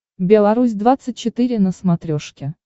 белорусь двадцать четыре на смотрешке